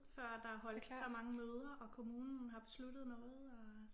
Før der er holdt så mange møder og kommunen har besluttet noget og